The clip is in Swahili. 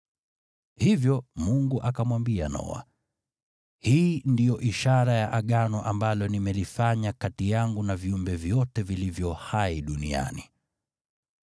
Hivyo Mungu akamwambia Noa, “Hii ndiyo ishara ya Agano ambalo nimelifanya kati yangu na viumbe vyote vilivyo hai duniani.”